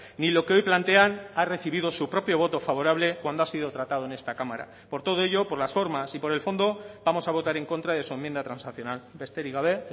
ni lo que hoy plantean ha recibido su propio voto favorable cuando ha sido tratado en esta cámara por todo ello por las formas y por el fondo vamos a votar en contra de su enmienda transaccional besterik gabe